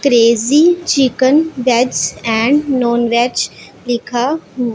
crazy chicken veg and non veg लिखा--